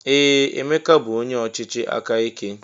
Ee! Emeka bụ onye ọchịchị aka ike.